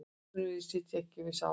Atvinnuvegir sitja ekki við sama borð